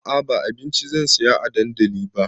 A'a ba abinci zan saya a dandali ba